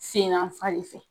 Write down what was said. Sen n'an fan ne fɛ.